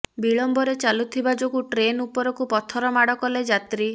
ବିଳମ୍ବରେ ଚାଲୁଥିବା ଯୋଗୁଁ ଟ୍ରେନ ଉପରକୁ ପଥର ମାଡ଼ କଲେ ଯାତ୍ରୀ